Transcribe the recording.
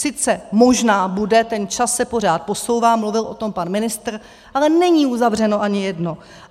Sice možná bude, ten čas se pořád posouvá, mluvil o tom pan ministr, ale není uzavřeno ani jedno.